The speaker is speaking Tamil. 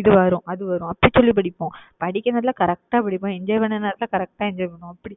இது வரும், அது வரும். அப்படி சொல்லி படிப்போம். படிக்கிற நேரத்துல correct ஆ படிப்போம். enjoy பண்ற நேரத்துல correct ஆ enjoy பண்ணுவோம் அப்படி